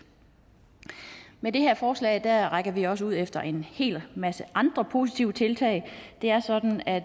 med det her forslag rækker vi også ud efter en hel masse andre positive tiltag det er sådan at